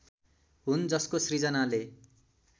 हुन् जसको सृजनाले